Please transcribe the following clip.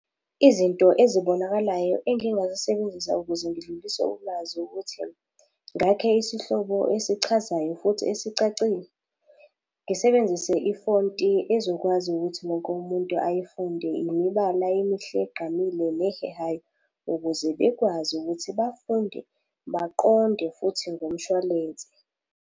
Izinto ezibonakalayo engingazisebenzisa ukuze ngidlulise ulwazi ukuthi, ngakhe isihlobo esichazayo futhi esicacile. Ngisebenzise ifonti ezokwazi ukuthi wonke umuntu ayifunde, imibala emihle egqamile nehehayo, ukuze bekwazi ukuthi bafunde, baqonde, futhi ngomshwalense.